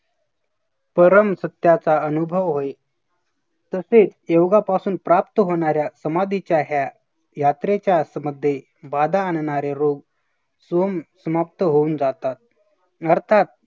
परम सत्याचा अनुभव होईल तसेच योगापासून प्राप्त होणाऱ्या समाधीच्या ह्या यात्रेच्या असं मध्ये बाधा आणणारे रोग सोम समाप्त होऊन जातात. अर्थात